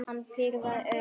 Hann pírði augun.